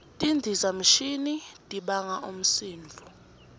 tindizamshini tibanga umsindvo